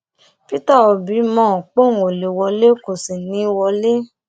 peter obi mọ póun ó lè wọlé kó sì ní í wọlé